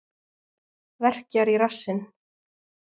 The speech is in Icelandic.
Verkjar í rassinn.